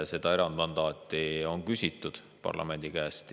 Seda erandmandaati on küsitud parlamendi käest.